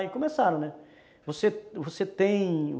Aí começaram, né? Você, você tem